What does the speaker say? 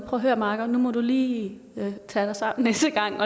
at høre makker nu må du lige tage dig sammen næste gang